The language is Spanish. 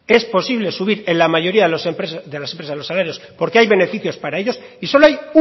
es posible subir en la mayoría de las empresas los salarios porque hay beneficios para ellos y solo hay